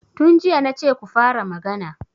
Tun jiya na ce ku fara magana!